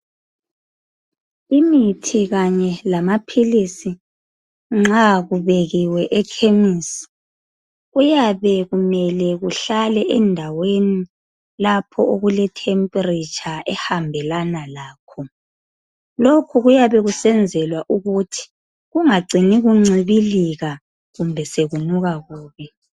Imithi kanye lamaphilisi nxa kubekiwe ekhemesi kuyabe kumele kuhlale endaweni lapho okuletemperature ehambelana lakho. Lokhu kuyabe kusenzelwa ukuthi kungacini kuncibilika kumbe sokunuka kubi.